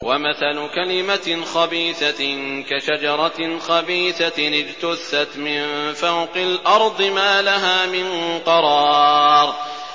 وَمَثَلُ كَلِمَةٍ خَبِيثَةٍ كَشَجَرَةٍ خَبِيثَةٍ اجْتُثَّتْ مِن فَوْقِ الْأَرْضِ مَا لَهَا مِن قَرَارٍ